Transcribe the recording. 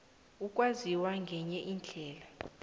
ukwaziswa ngenye indlela